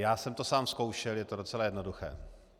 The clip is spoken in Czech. Já jsem to sám zkoušel, je to docela jednoduché.